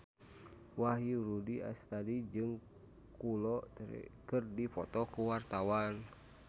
Wahyu Rudi Astadi jeung Kolo Taure keur dipoto ku wartawan